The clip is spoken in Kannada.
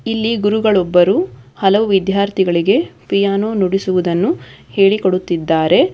ಇಲ್ಲಿ ಗುರುಗಳು ಒಬ್ಬರು ಹಲವು ವಿದ್ಯಾರ್ಥಿಗಳಿಗೆ ಪಿಯಾನೋ ನುಡಿಸುವುದನ್ನು ಹೇಳಿಕೊಡುತ್ತಿದ್ದಾರೆ.